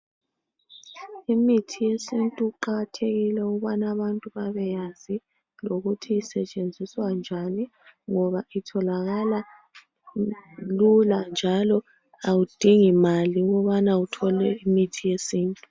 Imithi yesintu iqakathekile ukubana abantu babeyazi lokuthi isetshenziswa njani ngoba itholakala lula njalo awudingi mali ukubana uthole imithi yesintu.